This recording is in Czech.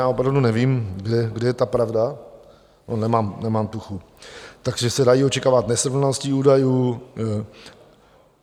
Já opravdu nevím, kde je ta pravda, nemám tuchy, takže se dají očekávat nesrovnalosti údajů.